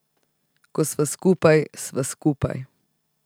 Ko sva skupaj, sva skupaj.